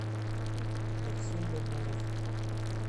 максим бабуров